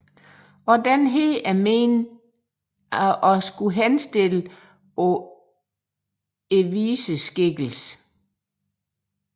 Også denne er ment at henspille på viseskikkelsen